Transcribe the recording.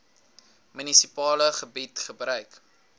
munisipale gebied gebruik